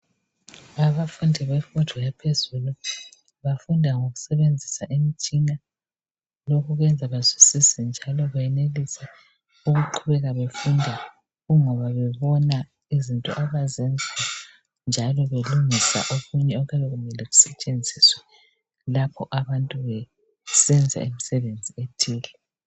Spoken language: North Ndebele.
abafundi bemfundo yaphezulu bafunda ngokusebenzisa imtshina kwenza bazwisise njalo benelise ukuqhubeka befunda kungoba bebona njalo izinto abazenzayo njalo belungisa okunye okuyabe kumele kusetshenziswe lapho abantu besenza imisebenzi ethile